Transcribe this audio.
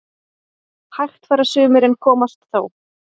Hægt fara sumir en komast þó